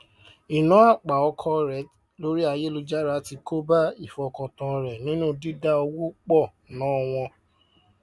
ìná àpà ọkọ rẹ lórí ayélujára ti kóbá ìfọkàntán rẹ nínú dídá owó pọ ná wọn